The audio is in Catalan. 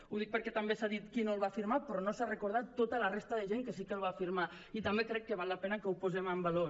ho dic perquè també s’ha dit qui no el va firmar però no s’ha recordat tota la resta de gent que el va firmar i també crec que val la pena que ho posem en valor